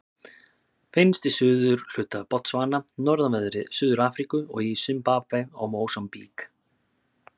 Finnst í suðurhluta Botsvana, norðanverðri Suður-Afríku og í Simbabve og Mósambík.